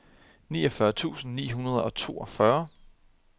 niogfyrre tusind ni hundrede og toogfyrre